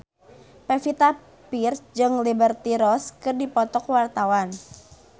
Pevita Pearce jeung Liberty Ross keur dipoto ku wartawan